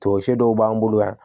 Tɔnsɛ dɔw b'an bolo yan